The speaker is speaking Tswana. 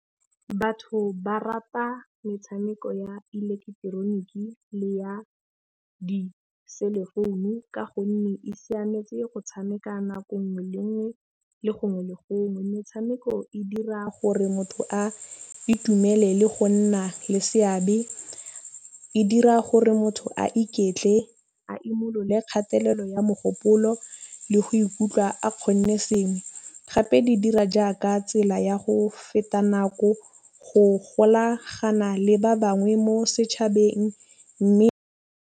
Batho ba rata metšhameko ya ileketeroniki le ya di-cellphone-u ka gonne e siametse go tšhameka nako ngwe le ngwe le gongwe le gongwe. Metšhameko e dira gore motho a itumele le go nna le seabe. E dira gore motho a iketle a imolole kgatelelo ya mogopolo le go ikutlwa a kgonne sengwe, gape di dira jaaka tsela ya go feta nako go golagana le ba bangwe mo setšhabeng mme.